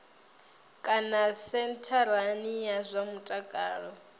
kana sentharani ya zwa mutakalo